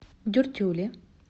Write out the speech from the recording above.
дюртюли